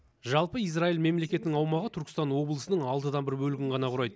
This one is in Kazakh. жалпы израиль мемлекетінің аумағы түркістан облысының алтыдан бір бөлігін ғана құрайды